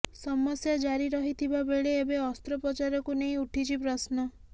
ସମସ୍ୟା ଜାରି ରହିଥିବା ବେଳେ ଏବେ ଅସ୍ତ୍ରୋପଚାରକୁ ନେଇ ଉଠିଛି ପ୍ରଶ୍ନ